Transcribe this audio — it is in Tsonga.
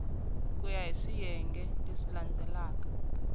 ku ya hi swiyenge swa